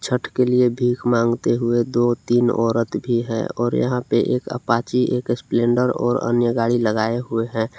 छठ के लिए भीख मांगते हुए दो तीन औरत भी हैं और यहां पे एक अपाची एक स्प्लेंडर और अन्य गाड़ी लगाए हुए हैं।